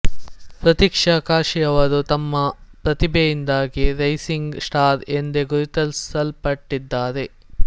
ಪ್ರತೀಕ್ಷಾ ಕಾಶಿಯವರು ತಮ್ಮ ಪ್ರತಿಭೆಯಿಂದಾಗಿ ರೈಸಿಂಗ್ ಸ್ಟಾರ್ ಎಂದೇ ಗುರುತಿಸಲ್ಪಟ್ಟಿದ್ದಾರೆ